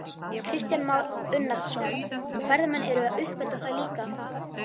Kristján Már Unnarsson: Og ferðamenn eru að uppgötva það líka?